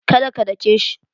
Do not beat him.